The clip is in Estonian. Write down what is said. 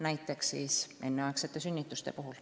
Näiteks võib tuua enneaegsed sünnitused.